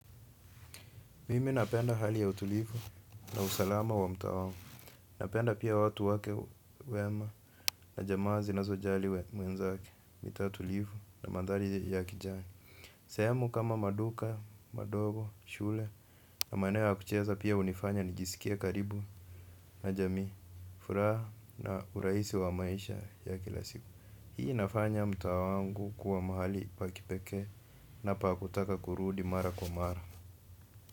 Mimi napenda hali ya utulivu na usalama wa mtaa wangu. Napenda pia watu wake wema na jamaa zinazojali mwenzake, mitaa tulivu na mandhari ya kijani. Sehemu kama maduka madogo shule na maeneo ya kucheza pia hunifanya nijiskie karibu na jamii furaha na urahisi wa maisha ya kila siku. Hii inafanya mtaa wangu kuwa mahali pa kipekee na pa kutaka kurudi mara kwa mara.